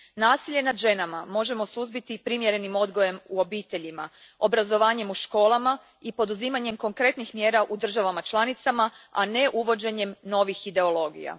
Nasilje nad ženama možemo suzbiti primjerenim odgojem u obiteljima, obrazovanjem u školama i poduzimanjem konkretnih mjera u državama članicama, a ne uvođenjem novih ideologija.